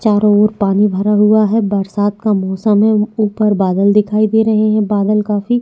चारो और पानी भरा हुआ है बरसात का मौसम है ऊपर बादल दिखाई दे रहै है बादल काफी--